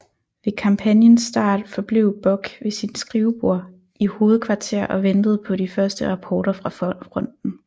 Ved kampagnens start forblev Bock ved sit skrivebord i sit hovedkvarter og ventede på de første rapporter fra fronten